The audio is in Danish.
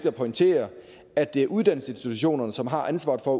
at pointere at det er uddannelsesinstitutionerne som har ansvaret for